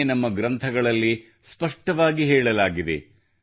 ಇದನ್ನೇ ನಮ್ಮ ಗ್ರಂಥಗಳಲ್ಲಿ ಸ್ಪಷ್ಟವಾಗಿ ಹೇಳಲಾಗಿದೆ